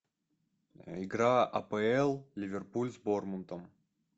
игра апл ливерпуль с борнмутом